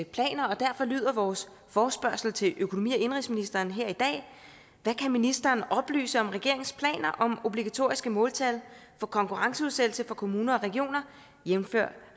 planer og derfor lyder vores forespørgsel til økonomi og indenrigsministeren her i dag hvad kan ministeren oplyse om regeringens planer om obligatoriske måltal for konkurrenceudsættelse for kommuner og regioner jævnfør